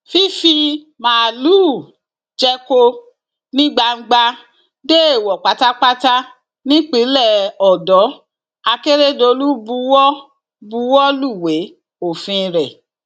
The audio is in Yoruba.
fífi máàlùú jẹko ní gbangba dẹẹwò pátápátá nípínlẹ ọdọ akérèdọlù buwọ buwọ lúwẹ òfin rẹ